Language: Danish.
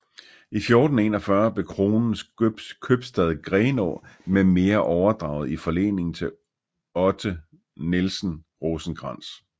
I 1441 blev Kronens købstad Grenaa med mere overdraget i forlening til Otte Nielsen Rosenkrantz